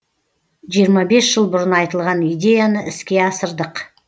жиырма бес жыл бұрын айтылған идеяны іске асырдық